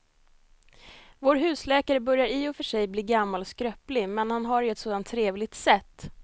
Vår husläkare börjar i och för sig bli gammal och skröplig, men han har ju ett sådant trevligt sätt!